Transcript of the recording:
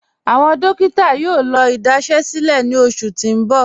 Awọn dòkítà yóò lọ́ idasẹ̀sílẹ̀ ní ọṣù tí n bọ̀.